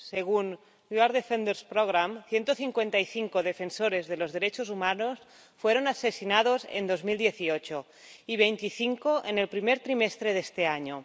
Según el programa Somos Defensores, 155 defensores de los derechos humanos fueron asesinados en 2018 y 25 en el primer trimestre de este año.